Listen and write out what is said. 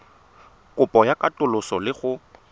kopo ya katoloso le go